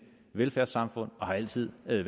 velfærdssamfund og har altid været